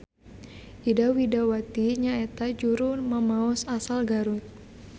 Ida Widawati nyaeta juru mamaos asal Garut.